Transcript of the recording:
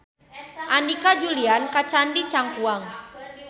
Andika ulin ka Candi Cangkuang